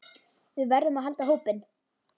Við verðum að halda hópinn!